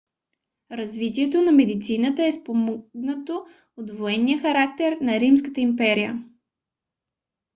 развитието на медицината е спомогнато от военния характер на римската империя